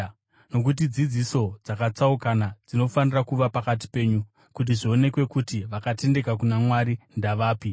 Nokuti dzidziso dzakatsaukana dzinofanira kuva pakati penyu, kuti zvionekwe kuti vakatendeka kuna Mwari ndavapi.